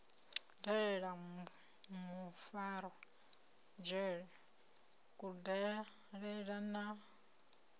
dalela mufarwa dzhele kudalele na